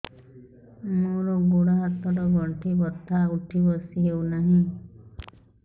ମୋର ଗୋଡ଼ ହାତ ର ଗଣ୍ଠି ବଥା ଉଠି ବସି ହେଉନାହିଁ